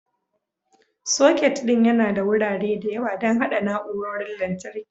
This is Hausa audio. Socket ɗin yana da wurare da yawa don haɗa na'urorin lantarki.